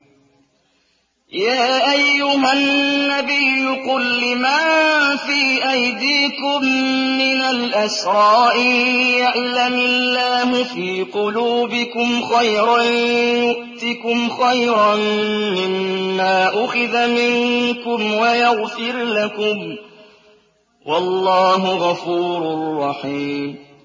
يَا أَيُّهَا النَّبِيُّ قُل لِّمَن فِي أَيْدِيكُم مِّنَ الْأَسْرَىٰ إِن يَعْلَمِ اللَّهُ فِي قُلُوبِكُمْ خَيْرًا يُؤْتِكُمْ خَيْرًا مِّمَّا أُخِذَ مِنكُمْ وَيَغْفِرْ لَكُمْ ۗ وَاللَّهُ غَفُورٌ رَّحِيمٌ